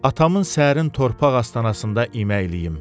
Atamın səhrin torpaq astanasında iməkləyim.